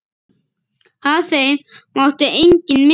Af þeim mátti enginn missa.